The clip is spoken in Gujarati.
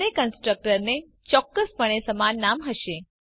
બંને કન્સ્ટ્રક્ટરને ચોક્કસપણે સમાન નામ હશે